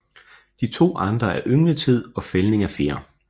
De to andre er yngletid og fældning af fjer